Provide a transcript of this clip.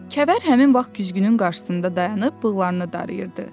Kəvər həmin vaxt güzgünün qarşısında dayanıb bığını darayırdı.